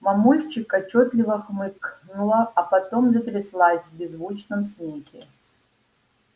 мамульчик отчётливо хмыкнула а потом затряслась в беззвучном смехе